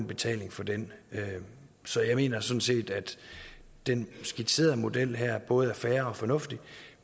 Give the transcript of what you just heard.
betaler for den så jeg mener sådan set at den skitserede model her både er fair og fornuftig